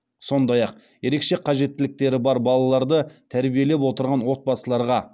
сондай ақ ерекше қажеттіліктері бар балаларды тәрбиелеп отырған отбасыларға